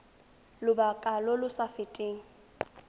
lobaka lo lo sa feteng